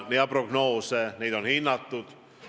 Seda on hinnatud.